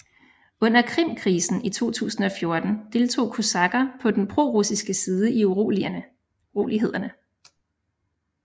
Under Krimkrisen 2014 deltog kosakker på den prorussiske side i urolighederne